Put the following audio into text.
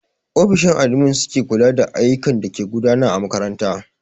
Ofishin admin su ke kula da ayyukan dake gudana a makaranta.